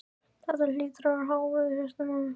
Þetta hlýtur að vera hávaði í hausnum á mér.